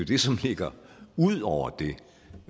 det som ligger ud over